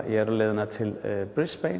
er á leiðinni til